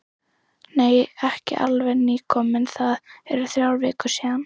Nei, ekki alveg nýkominn, það eru þrjár vikur síðan.